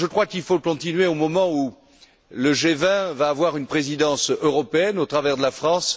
Il faut continuer, au moment où le G20 va avoir une présidence européenne, au travers de la France.